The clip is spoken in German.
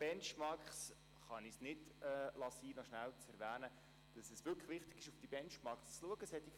Benchmarks: Ich kann es nicht sein lassen, kurz zu erwähnen, dass es wirklich wichtig ist, auf diese Benchmarks zu schauen.